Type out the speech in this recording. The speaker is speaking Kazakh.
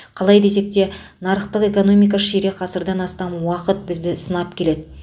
қалай десек те нарықтық экономика ширек ғасырдан астам уақыт бізді сынап келеді